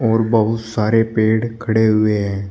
और बहुत सारे पेड़ खड़े हुए हैं।